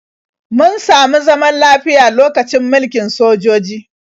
Mun samu zaman lafiya lokacin mulkin sojoji.